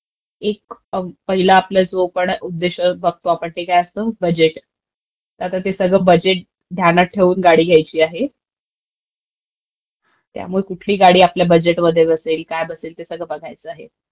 एक पहिला आपला सोकॉल्ड काय उद्देश्य बघतो आपण, ते काय असतं बजेट. तर ते आता बजेट ध्यान्यात ठेवून गाडी घ्यायची आहे. त्यामुळे कुठली गाडी आपल्या बजेटमध्ये बसेल, काय बसेल, ते सगळं बघायचं आहे.